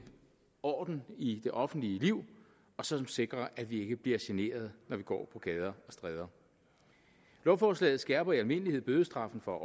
orden i det offentlige liv og som sikrer at vi ikke bliver generet når vi går på gader og stræder lovforslaget skærper i almindelighed bødestraffen for